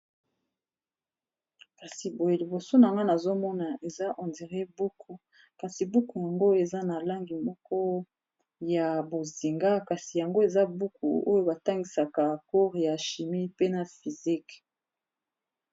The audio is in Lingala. kasi boye liboso na ngai nazomona eza buku kasi buku yango eza na langi moko ya bozinga kasi yango eza buku oyo batangisaka chimie pe na physique.